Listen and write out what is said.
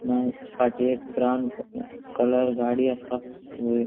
मागीर फाटी एक ब्राउन कलर गाड़ी असा वयर --